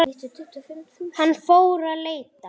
Hann fór að leita.